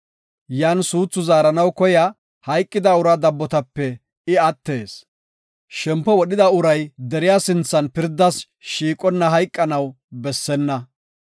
Yan suuthu zaaranaw koya hayqida uraa dabbotape I attees. Shempo wodhida deriya sinthan pirdas shiiqonna hayqanaw bessenna.